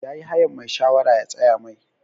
Ya yi hayan mai shawara ya tsaya Mai.